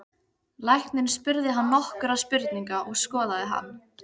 Læknirinn spurði hann nokkurra spurninga og skoðaði hann.